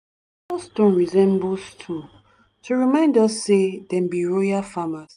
some ancestor stone resemble stool to remind us say dem be royal farmers.